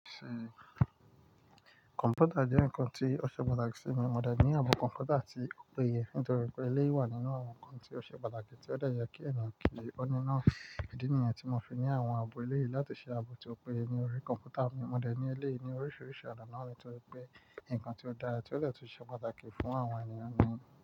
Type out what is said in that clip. Kọ̀m̀pútà jẹ́ ǹkan tí ó ṣe pàtàkì sí mi. Mo dẹ̀ ní ààbò kọ̀m̀pútà ti ò p'ẹyẹ nítorí pé ilé wà nínú àwọn ǹkan tí ó ṣe pàtàkì tí ó de ye kí ènìyàn kì í gbẹ́. Ó ní iná ìdí nìyẹn tí mo fi ní àwọn ààbò ilé yìí láti ṣe ààbò ti òpó ẹyẹ ni orí kọ̀m̀pútà mi. Mo dẹ̀ ní ilé ní oríṣiríṣi ọ̀nà nítorí pé ǹkan tí ó dára tí ó detun ṣe pàtàkì fún àwọn ènìyàn ni.